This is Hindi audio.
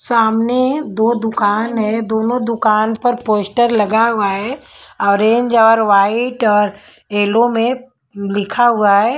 सामने दो दुकान है दोनों दुकान पर पोस्टर लगा हुआ है ऑरेंज और वाइट और येलो में लिखा हुआ है।